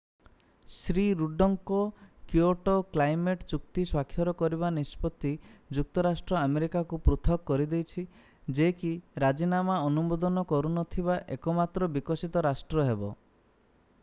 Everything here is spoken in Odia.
ଶ୍ରୀ ରୁଡ୍ଡଙ୍କ କିଓଟୋ କ୍ଲାଇମେଟ୍ ଚୁକ୍ତି ସ୍ୱାକ୍ଷର କରିବା ନିଷ୍ପତ୍ତି ଯୁକ୍ତରାଷ୍ଟ୍ର ଆମେରିକାକୁ ପୃଥକ କରିଦେଇଛି ଯେ କି ରାଜିନାମା ଅନୁମୋଦନ କରୁନଥିବା ଏକମାତ୍ର ବିକଶିତ ରାଷ୍ଟ୍ର ହେବ